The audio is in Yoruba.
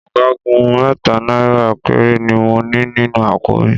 Ọgọ́rùn-ún mẹ́ta náírà péré ni mo ní nínú àpò mi